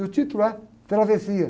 E o título é Travessia.